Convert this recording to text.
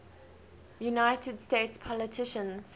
united states politicians